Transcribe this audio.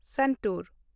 Santur